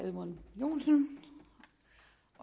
edmund joensen